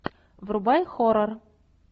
врубай хоррор